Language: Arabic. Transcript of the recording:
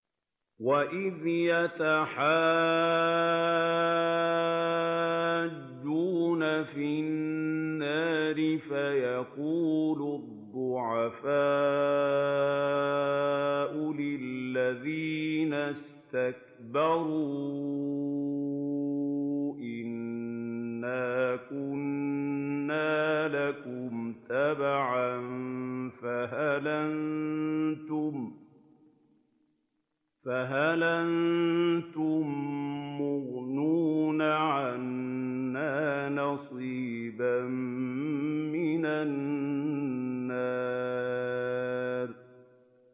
وَإِذْ يَتَحَاجُّونَ فِي النَّارِ فَيَقُولُ الضُّعَفَاءُ لِلَّذِينَ اسْتَكْبَرُوا إِنَّا كُنَّا لَكُمْ تَبَعًا فَهَلْ أَنتُم مُّغْنُونَ عَنَّا نَصِيبًا مِّنَ النَّارِ